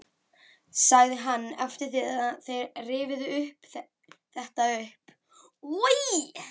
sagði hann daginn eftir þegar þeir rifjuðu þetta upp: Oj!